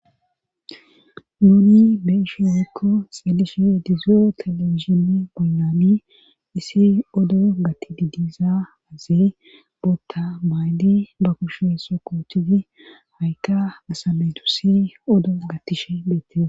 Nuuni be'ishe wekko xedishe edizoo telewishimi boynami issi odo gati didiza azi bootta maydi ba kushe sokotidi hawikka asameytu si odo gatishe beette.